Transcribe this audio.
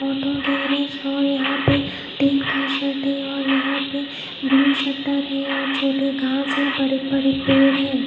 Auto garage और यहा पे तिन का सर्ट है यहा पे ब्लू शटर है और छोटे घास है बड़े बड़े पेड़ है।